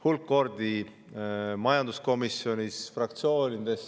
Hulk kordi veel majanduskomisjonis, fraktsioonides.